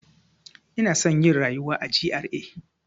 Ina son yin rayuwa a GRA.